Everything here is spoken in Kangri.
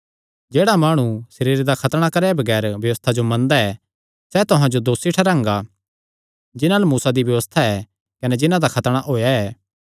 जेह्ड़ा माणु सरीरे दा खतणा कराये बगैर व्यबस्था जो मनदा ऐ सैह़ तुहां जो दोसी ठैहरांगा जिन्हां अल्ल मूसा दी व्यबस्था ऐ कने जिन्हां दा खतणा होएया ऐ